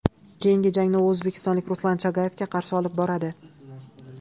Keyingi jangni u o‘zbekistonlik Ruslan Chagayevga qarshi olib boradi.